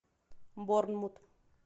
борнмут